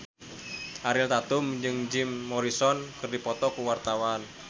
Ariel Tatum jeung Jim Morrison keur dipoto ku wartawan